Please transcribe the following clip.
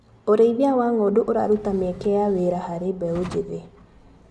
ũrĩithia wa ngondu ũraruta mieke ya wĩra harĩ mbeũ njĩthĩ.